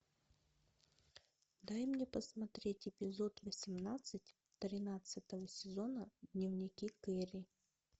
дай мне посмотреть эпизод восемнадцать тринадцатого сезона дневники кэрри